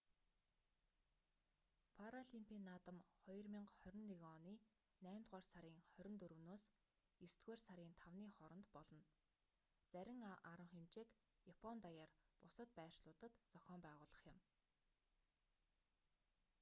паралимпийн наадам 2021 оны наймдугаар сарын 24-с есдүгээр сарын 5-ны хооронд болно зарим арга хэмжээг япон даяар бусад байршлуудад зохион байгуулах юм